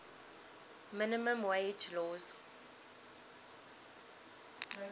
minimum wage laws